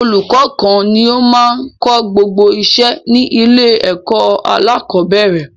Ọlùkọ́ kan ni o máa n kó gbogbo iṣẹ́ ní ilé ẹ̀kọ́ alákọ̀bẹ́rẹ̀